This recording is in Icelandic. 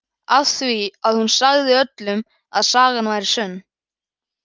Af því að hún sagði öllum að sagan væri sönn.